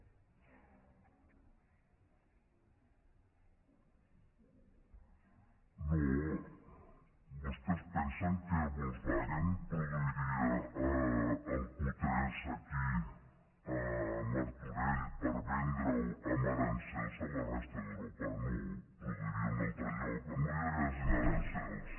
no vostès pensen que volkswagen produiria el q3 aquí a martorell per vendre ho amb aranzels a la resta d’europa no el produiria en un altre lloc on no hi haguessin aranzels